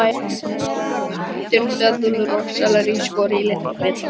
Ávextir, döðlur og sellerí skorið í litla bita.